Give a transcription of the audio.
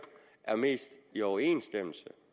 er mest i overensstemmelse